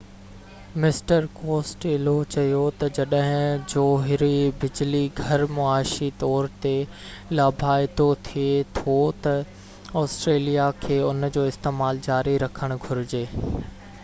mister Costello چيو تہ جڏهن جوهري بجلي گهر معاشي طور تي لاڀائتو ٿي ٿو تہ آسٽريليا کي ان جو استعمال جاري رکڻ گهرجي